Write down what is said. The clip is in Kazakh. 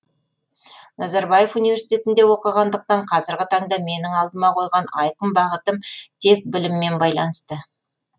назарбаев университетінде оқығандықтан қазіргі таңда менің алдыма қойған айқын бағытым тек біліммен байланысты